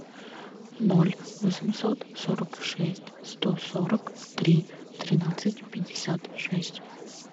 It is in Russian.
ноль восемьсот сорок шесть сто сорок три тринадцать пятьдесят шесть